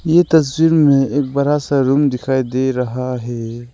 ये तस्वीर में एक बड़ा सा रूम दिखाई दे रहा है।